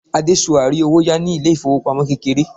adesua ri owo ya ni ilé ifowopamọ kékeré